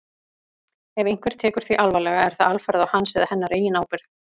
Ef einhver tekur því alvarlega er það alfarið á hans eða hennar eigin ábyrgð.